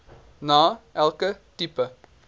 na elke tipe